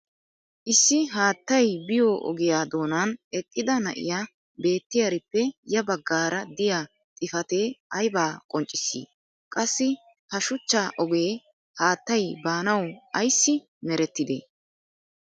issi haattay biyo ogiya doonan eqqida na'iya beetiyaarippe ya bagaara diya xifatee aybaa qonccissii? qassi ha shuchcha ogee haattay baanawu ayssi merettidee?